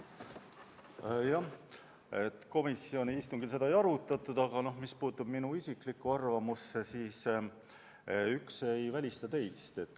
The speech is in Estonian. Jah, komisjoni istungil seda ei arutatud, aga mis puudutab minu isiklikku arvamust, siis üks ei välista teist.